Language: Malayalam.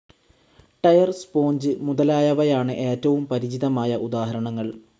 ടയർ, സ്പോഞ്ച് മുതലായവയാണ് ഏറ്റവും പരിചിതമായ ഉദാഹരണങ്ങൾ.